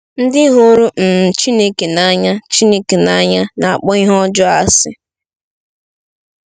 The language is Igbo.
Ndị hụrụ um Chineke n’anya Chineke n’anya na-akpọ ihe ọjọọ asị.